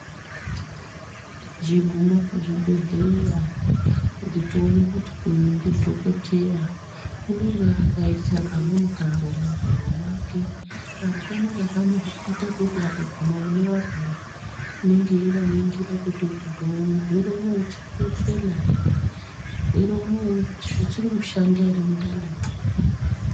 Techigume pazvibhehleya kuti tione kuti uyu ndidhokodheya unonga akaisa kamweni karo muhuro mwake karo kanoaka kanoita kuti akaguma mune arwere unenge eivaningira kuti murwre uno uchiri kufema ere, murwere uno zvichiri kushanda ere mundanimwo..